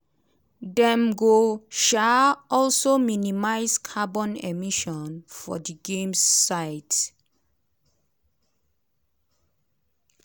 dem go um also minimise carbon emissions for di games sites.